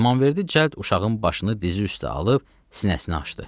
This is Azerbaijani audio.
İmamverdi cəld uşağın başını dizi üstə alıb sinəsini açdı.